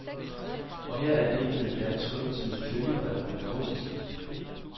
Og her er digtet endda trykt med følgebrev og begrundelse.